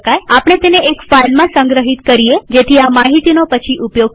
આપણે તેને એક ફાઈલમાં સંગ્રહિત કરીએજેથી આ માહિતીનો પછી ઉપયોગ કરી શકાય